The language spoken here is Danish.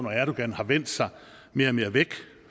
erdogan har vendt sig mere og mere væk